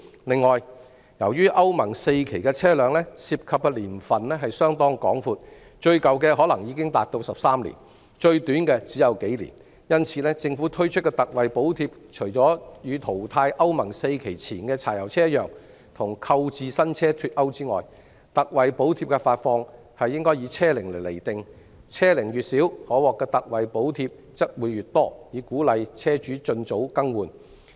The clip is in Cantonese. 另外，由於歐盟 IV 期的車輛涉及的年份甚廣，最舊的可能已達13年，最短的只有數年，因此，政府推出的特惠補貼，除與淘汰歐盟 IV 期前的柴油車一樣與購置新車脫鈎外，特惠補貼的發放應以車齡釐定，車齡越小，可獲的特惠補貼則會越多，以鼓勵車主盡早更換。